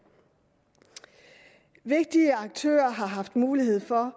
vigtige aktører har haft mulighed for